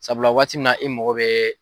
Sabula waati min na i mago bɛ